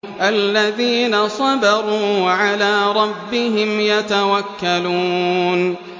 الَّذِينَ صَبَرُوا وَعَلَىٰ رَبِّهِمْ يَتَوَكَّلُونَ